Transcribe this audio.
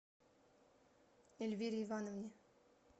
эльвире ивановне